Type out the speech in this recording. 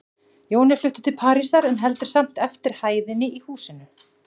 Jón er fluttur til Parísar, en heldur samt eftir hæðinni í húsinu.